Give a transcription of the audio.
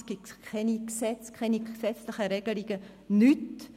Es gibt keine Gesetze, keine gesetzliche Regelungen, nichts.